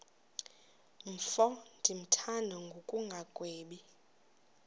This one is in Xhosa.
mfo ndimthanda ngokungagwebi